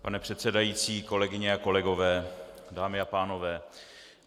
Pane předsedající, kolegyně a kolegové, dámy a pánové.